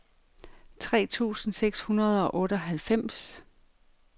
tre tusind seks hundrede og otteoghalvfems